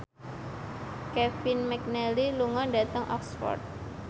Kevin McNally lunga dhateng Oxford